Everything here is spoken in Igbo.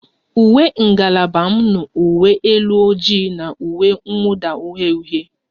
Uwe ngalaba m nụ uwe elu ojii na uwe mwuda uhie uhie